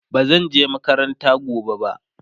bazan je makaranta gobe ba